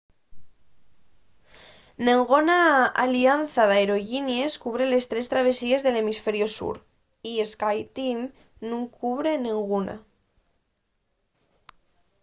nenguna alianza d’aerollinies cubre les tres travesíes del hemisferiu sur y skyteam nun cubre nenguna